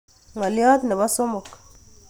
Ngolyot nebo somok